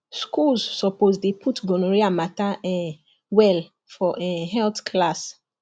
schools suppose dey put gonorrhea matter um well for um health class